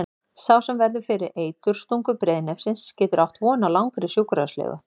Sá sem verður fyrir eiturstungu breiðnefsins getur átt von á langri sjúkrahúslegu.